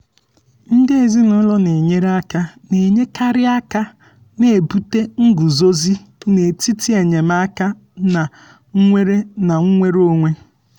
ndị ezinaụlọ na-enyere aka na-enyekarị aka na-ebute nguzozi n'etiti enyemaka na nnwere na nnwere onwe.